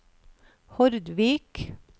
Hordvik